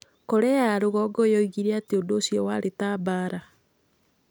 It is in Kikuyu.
Korea ya Rũgongo yoigire atĩ ũndũ ũcio warĩ ta mbaara.